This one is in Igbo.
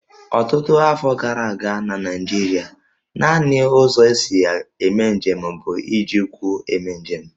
Ọtụtụ afọ gara aga na Naịjirịa, nanị ụzọ e si eme njem bụ iji ụkwụ eme njem